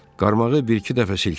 Qarmağı bir-iki dəfə silkələ.